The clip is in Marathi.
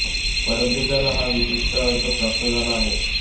परंतु त्याला हा विशिष्ट अर्थ प्राप्त झाला आहे